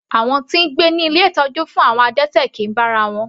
Àwọn tí ń gbé ní ilé ìtọ́jú fún àwọn adẹ́tẹ̀ kìí bá ara wọn.